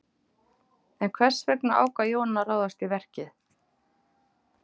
En hvers vegna ákvað Jón að ráðast í verkið?